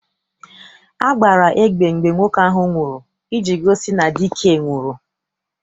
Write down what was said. A gbara egbe mgbe nwoke ahụ nwụrụ iji gosi na dike nwụrụ.